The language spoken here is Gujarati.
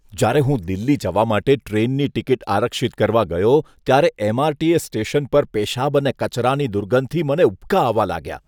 જ્યારે હું દિલ્હી જવા માટે ટ્રેનની ટિકિટ આરક્ષિત કરવા ગયો ત્યારે એમ.આર.ટી.એસ. સ્ટેશન પર પેશાબ અને કચરાની દુર્ગંધથી મને ઉબકા આવવા લાગ્યા.